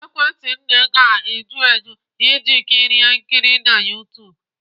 Ekwentị nne ga-eju eju iji kirie nkiri na YouTube?